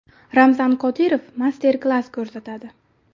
Ramzan Qodirov master-klass ko‘rsatadi .